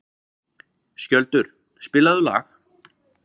Skjöldur, spilaðu lag.